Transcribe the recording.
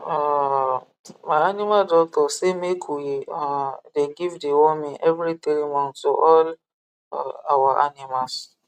um my animal doctor say make we um dey give deworming every three months to all um our animals